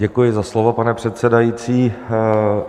Děkuji za slovo, pane předsedající.